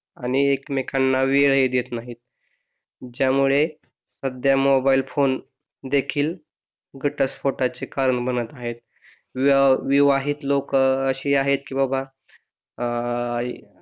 आणि एकमेकांना वेळ ही देत नाही ज्यामुळे सध्या मोबाईल फोन देखील घटस्फोटाचे कारण बनत आहे विवाहित लोक अशी आहेत की बाबा अह